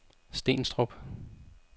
Stenstrup